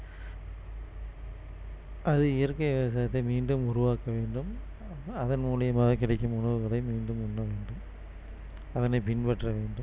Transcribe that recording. அது இயற்கை விவசாயத்தை மீண்டும் உருவாக்க வேண்டும் அதன் மூலியமாக கிடைக்கும் உணவுகளை மீண்டும் உண்ண வேண்டும் அதனை பின்பற்ற வேண்டும்